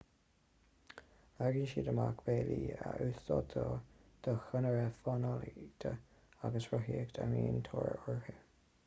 leagann siad amach bealaí a úsáidtear do chonairí fánaíochta agus rothaíochta a mbíonn tóir orthu